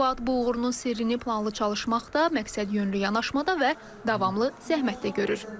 Fuad bu uğurunun sirrini planlı çalışmaqda, məqsədyönlü yanaşmada və davamlı zəhmətdə görür.